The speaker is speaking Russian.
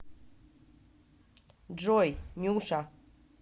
джой нюша